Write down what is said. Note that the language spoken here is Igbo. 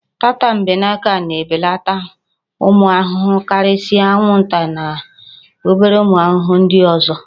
Tatambeneke na-ebeleta ụmụ ahụhụ karịsịa anwụnta na obere ụmụ ahụhụ nd ọzọ